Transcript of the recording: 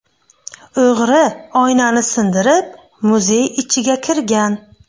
O‘g‘ri oynani sindirib muzey ichiga kirgan.